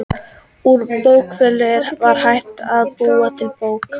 Úr bókfelli var hægt að búa til bók.